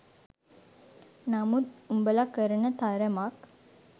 නමුත් උඹල කරන තරමක්